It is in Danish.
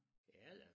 Er den?